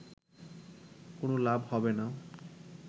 কোনো লাভ হবে না